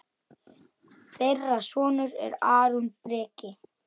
Þeirra sonur er Aron Breki.